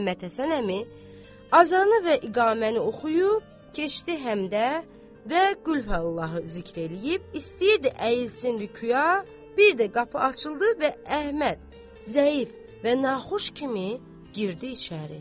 Məhəmməd Həsən əmi azanı və iqaməni oxuyub keçdi həmdə və qulhəllahı zikr eləyib istəyirdi əyilsin rükya, bir də qapı açıldı və Əhməd zəif və naxoş kimi girdi içəri.